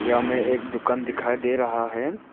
हमे एक दुकान दिखाई दे रहा है।